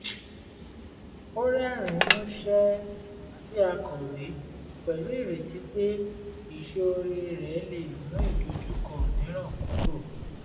ó rẹ́rìn-ín músẹ́ sí akọ̀wé pẹ̀lú ìrètí pé ìṣoore rẹ̀ lè mú ìdojúkọ mìíràn kúrò